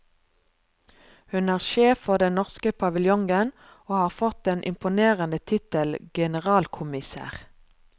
Hun er sjef for den norske paviljongen, og har fått den imponerende tittel generalkommissær.